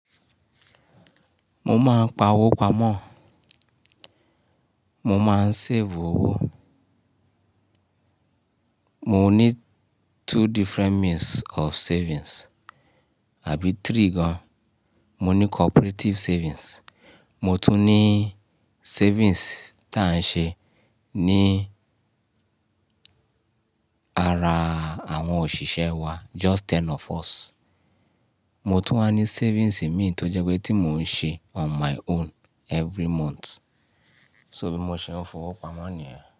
Mo máa ń pa owó pamọ́, mo máa ń save owó. Mo ní two different means of savings àbí three gan. Mo ní cooperative savings, mo tún ní savings tí à ń ṣe ní ara àwọn òṣìṣẹ́ wa, just ten of us. Mo tún wá ní savings mi tó jẹ́ pé tí mò ń ṣe on my own every month. So bí mo ṣe ń fowó pamọ́ nìyẹn.